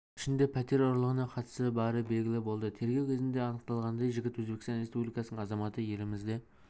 ішінде пәтер ұрлығына қатысы бары белгілі болды тергеу кезінде анықталғандай жігіт өзбекстан республикасының азаматы елімізде